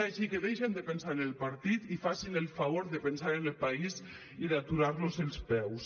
així que deixin de pensar en el partit i facin el favor de pensar en el país i d’aturar los els peus